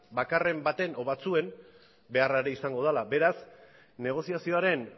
bakarren baten edo batzuen beharra ere izango dela beraz negoziazioaren